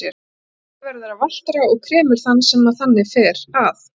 Því lífið verður að valtara og kremur þann sem þannig fer að.